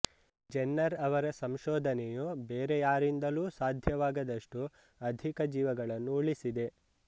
Jenner ಅವರ ಸಂಶೋಧನೆಯು ಬೇರೆ ಯಾರಿಂದಲೂ ಸಾಧ್ಯವಾಗದಷ್ಟು ಅಧಿಕ ಜೀವಗಳನ್ನು ಉಳಿಸಿದೆ